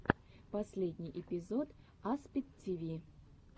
последний эпизод аспид тиви